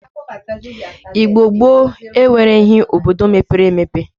Igbo gboo enwereghi obodo mepere emepe.